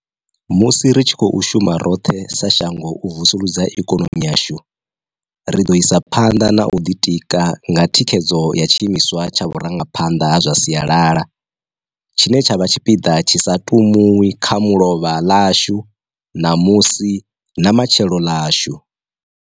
Musi ri tshi khou shuma roṱhe sa shango u vusuludza ikonomi yashu, ri ḓo isa phanḓa na u ḓitika nga thikhedzo ya tshiimiswa tsha vhurangaphanḓa ha zwa sialala, tshine tsha vha tshipiḓa tshi sa tumiwi kha mulovha ḽashu, namusi, na matshelo ḽashu.